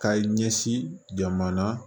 Ka ɲɛsin jamana